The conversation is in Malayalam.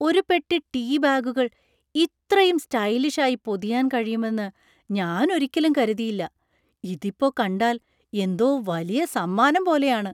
ഒരു പെട്ടി ടീ ബാഗുകൾ ഇത്രയും സ്റ്റൈലിഷായി പൊതിയാൻ കഴിയുമെന്ന് ഞാൻ ഒരിക്കലും കരുതിയില്ല. ഇതിപ്പോ കണ്ടാൽ എന്തോ വലിയ സമ്മാനം പോലെയാണ്.